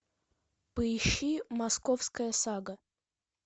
поищи московская сага